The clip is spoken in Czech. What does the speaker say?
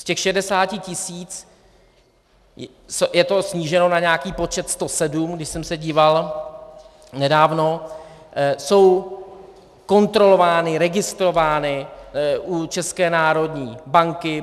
Z těch 60 tisíc je to sníženo na nějaký počet 107, když jsem se díval nedávno, jsou kontrolovány, registrovány u České národní banky.